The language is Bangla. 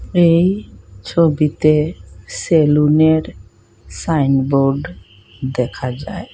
এই ছবিতে সেলুনের সাইনবোর্ড দেখা যায়।